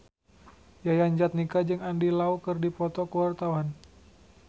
Yayan Jatnika jeung Andy Lau keur dipoto ku wartawan